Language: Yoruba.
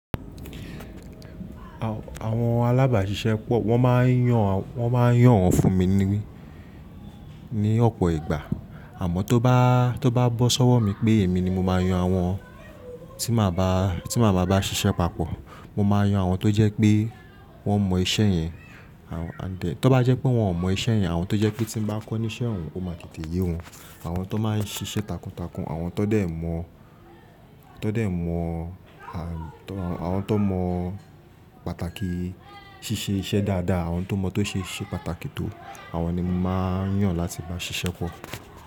Àwọn alábàáṣiṣẹ́ pọ̀, wọn máa ń yàn wọ́n máa ń yàn won fún mi ní ọ̀pọ̀ ìgbà. Àmọ́n tó bá to ba bosọ́wọ́ mi pé èmi ni mo máa yan àwọn tí màá bá ṣiṣẹ́ papọ̀. Mo máa yan àwọn tó jẹ́ pé wọ́n mọ iṣẹ́ yẹn, tó bá jẹ́ pé wọ́n ò mọ iṣẹ́ yẹn, àwọn tó jẹ́ pé tí mo bá kọ́ ní iṣẹ́ òun ó máa tètè yé wọn. Àwọn tó máa ń ṣiṣẹ́ takuntakun, àwọn tó dẹ̀ mọ̀ àwọn tó mọ pàtàkì ṣíṣe iṣẹ́ dáadáa, àwọn tó mọ tó ṣeṣe pàtàkì tó àwọn ni mo máa ń yàn láti bá ṣiṣẹ́ pọ̀.